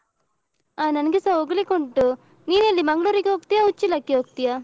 ಅ ನನ್ಗೆಸ ಹೋಗ್ಲಿಕ್ಕುಂಟು ನೀನೆಲ್ಲಿ ಮಂಗ್ಳೂರಿಗೆ ಹೋಗ್ತೀಯ ಉಚ್ಚಿಲಕ್ಕೆ ಹೋಗ್ತೀಯಾ?